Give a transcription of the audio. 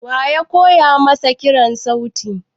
Wa ya koya masa kiran sauti?